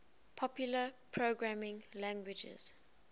popular programming languages